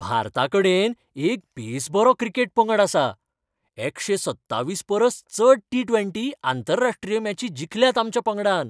भारताकडेन एक बेसबरो क्रिकेट पंगड आसा. एकशे सत्तावीस परस चड टी ट्वेंटी आंतरराश्ट्रीय मॅची जिखल्यात आमच्या पंगडान.